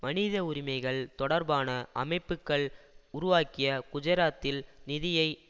மனித உரிமைகள் தொடர்பான அமைப்புக்கள் உருவாக்கிய குஜராத்தில் நிதியை